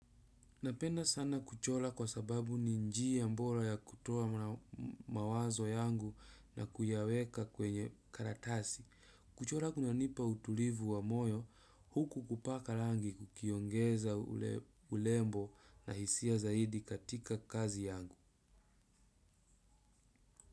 Napenda sana kuchora kwa sababu ni njia bora ya kutoa mawazo yangu na kuyaweka kwenye karatasi. Kuchora kunanipa utulivu wa moyo huku kupaka rangi kukiongeza urembo na hisia zaidi katika kazi yangu.